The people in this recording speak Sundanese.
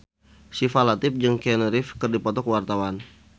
Syifa Latief jeung Keanu Reeves keur dipoto ku wartawan